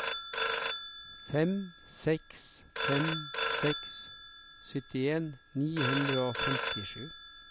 fem seks fem seks syttien ni hundre og femtisju